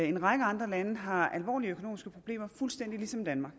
en række andre lande har alvorlige økonomiske problemer fuldstændig ligesom danmark